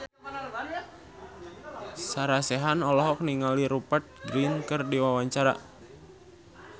Sarah Sechan olohok ningali Rupert Grin keur diwawancara